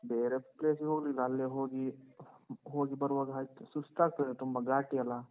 ಬೇರೆ place ಗೆ ಹೋಗ್ಲಿಲ್ಲ. ಅಲ್ಲೇ ಹೋಗಿ, ಹೋಗಿ ಬರುವಾಗ ಆಯ್ತು ಸುಸ್ತಾಗ್ತದೆ ತುಂಬ, ಘಾಟಿ ಅಲ್ಲಾ?